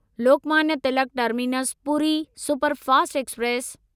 Lokmanya Tilak terminus Puri superfast express